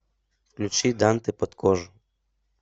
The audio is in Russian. включи дантэ под кожу